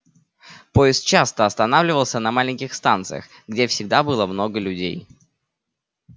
поезд часто останавливался на маленьких станциях где всегда было много людей